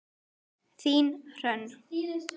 Þín, Hrönn.